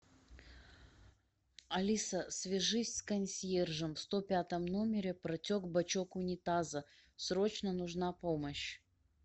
алиса свяжись с консьержем в сто пятом номере протек бачок унитаза срочно нужна помощь